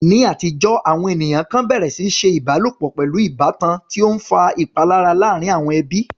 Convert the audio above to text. Ní àtijọ́, àwọn ènìyàn kan bẹ̀rẹ̀ sí ní ṣe ìbálòpọ̀ pẹ̀lú ìbátan, tí ó ń fa ìpalára láàárín àwọn ẹbí.